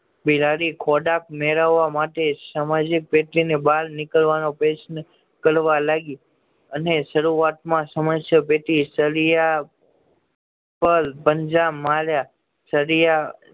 બિલાડી ખોરાક મેળવવા માટે સામાજિક ને બાર નીકળવાનો પ્રયત્ન કરવા લાગી અને શરૂઆત માં સમસ્યા પેટી સળિયા પર પંજા માર્યા